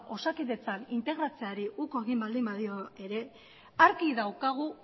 osakidetzan integratzeari uko egin badio ere argi daukagu